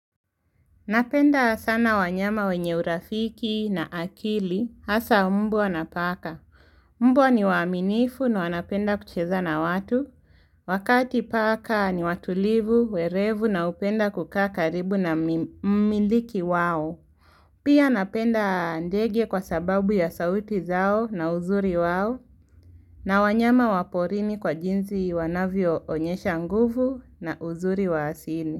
Napenda sana wanyama wenye urafiki na akili hasa mbwa na paka. Mbwa ni waaminifu na wanapenda kucheza na watu. Wakati paka ni watulivu, werevu na hupenda kukaa karibu na mi mumiliki wao. Pia napenda ndege kwa sababu ya sauti zao na uzuri wao na wanyama wa porini kwa jinsi wanavyo onyesha nguvu na uzuri wa asili.